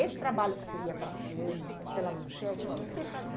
Esse trabalho que você ia para a Cannes, pela Manchete, de que que você